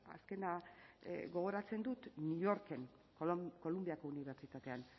azkena gogoratzen dut new yorken columbiako unibertsitatean